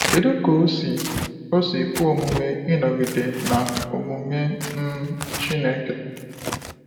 Kedu ka o si o si kwe omume ịnọgide na omume um Chineke?